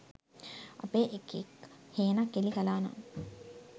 අපේ එකෙක් හේනක් එලි කලානම්